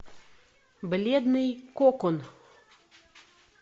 бледный кокон